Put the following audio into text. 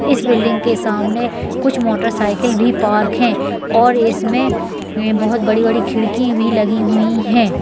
इस बिल्डिंग के सामने कुछ मोटर साइकल भी पार्क है और इसमे बहुत बड़ी बड़ी खिड़की भी लगी हुई है।